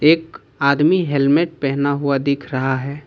एक आदमी हेलमेट पहना हुआ दिख रहा है।